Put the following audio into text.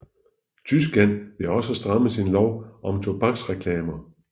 Tyskland vil også stramme sin lov om tobaksreklamer